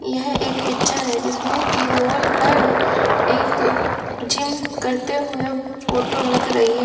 यह एक पिक्चर है जिसमें की वॉल पर एक जिम करते हुए फोटो लग रही है।